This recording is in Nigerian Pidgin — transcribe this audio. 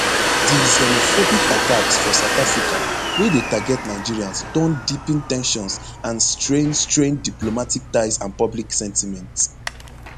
di xenophobic attacks for south africa wey dey target nigerians don deepen ten sions and straine straine diplomatic ties and public sentiment